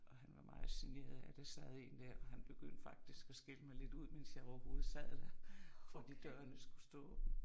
Og han var meget generet af at der sad en og han begyndte faktisk at skælde mig lidt ud mens jeg overhovedet sad der fordi døren skulle stå åben